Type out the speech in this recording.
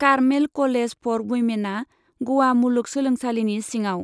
Carmel college for वुइमेनआ ग'वा मुलुग सोलोंसालिनि सिङाव।